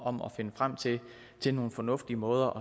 om at finde frem til til nogle fornuftige måder